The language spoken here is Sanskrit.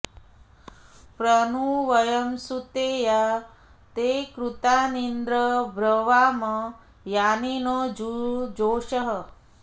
प्र नु व॒यं सु॒ते या ते॑ कृ॒तानीन्द्र॒ ब्रवा॑म॒ यानि॑ नो॒ जुजो॑षः